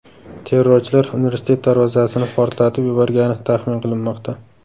Terrorchilar universitet darvozasini portlatib yuborgani taxmin qilinmoqda.